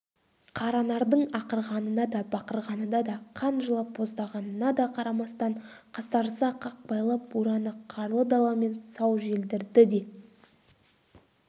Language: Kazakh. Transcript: қаранардың ақырғанына да бақырғанына да қан жылап боздағанына да қарамастан қасарыса қақпайлап бураны қарлы даламен сау желдірді де